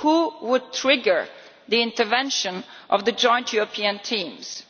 Who would trigger the intervention of the joint European teams?